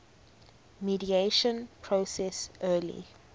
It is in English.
mediation process early